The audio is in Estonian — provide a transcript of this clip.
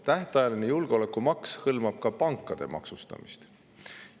Tähtajaline julgeolekumaks hõlmab ka pankade maksustamist.